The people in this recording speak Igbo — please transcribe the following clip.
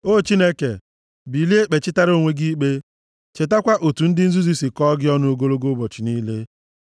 O Chineke, bilie, kpechitara onwe gị ikpe. Chetakwa otu ndị nzuzu si kọọ gị ọnụ ogologo ụbọchị niile.